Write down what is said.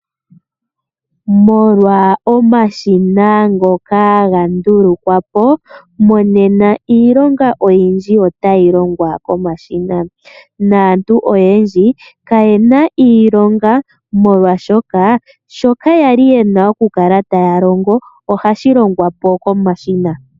Molwa omashina ngoka ga ndulukwa po, monena iilonga oyindji otayi longwa komashina naantu oyendji ka ye na iilonga molwashoka shoka ya li ye na oku kala taya longo ohashi longwa po komashina.